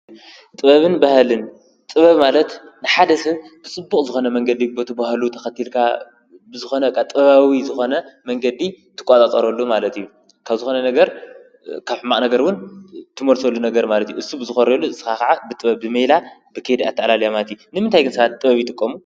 ጥበብን ባሃልን ጥበብ ማለት ንሓደ ስብ ብስቡቕ ዝኾነ መንገዲ ቦት ብሃሉ ተኸቲልካ ብዝኾነ ቓ ጥባዊ ዝኾነ መንገዲ ትቋጻጸረሉ ማለት እዩ ካብ ዝኾነ ነገር ካብ ሕማቕ ነገርውን ትሞርሰሉ ነገር ማለት ዩ። እሱ ብዝኾርሉ ስኻ ኸዓ ብጥበብ ብመይላ ብኬድ ኣተዕላል ያማቲ ንምንታይ ግንሣት ጥበብ ይጥቆም